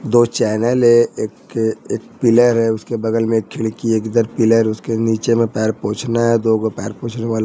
दो चैनल है एक एक पिलर है उसके बगल में एक खिड़की है इधर पिलर उसके नीचे में पैर पोछना है दो गो पैर पोछने वाला--